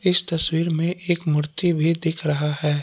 इस तस्वीर में एक मूर्ति भी दिख रहा हैं।